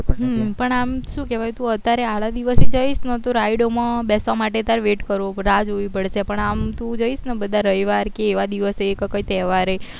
પણ આમ શું કેવાય તું અત્યારે આડા દિવસે જઈશ ન તો rides બેસવા માટે તાર wait કરવો પડે રાહ જોવી પડશે પણ આમ તું જઈશ ને બધા રવિવાર કે એવા દિવસે કે કઈ તેહવારે